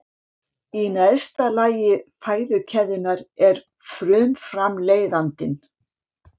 Í neðsta þrepi fæðukeðjunnar er frumframleiðandinn.